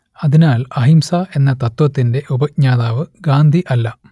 അതിനാൽ അഹിംസ എന്ന തത്ത്വത്തിന്റെ ഉപജ്ഞാതാവ് ഗാന്ധി അല്ല